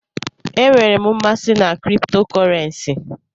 Enwere m mmasị na kripto kọrensi.